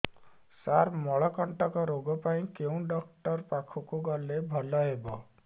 ସାର ମଳକଣ୍ଟକ ରୋଗ ପାଇଁ କେଉଁ ଡକ୍ଟର ପାଖକୁ ଗଲେ ଭଲ ହେବ